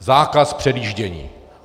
Zákaz předjíždění.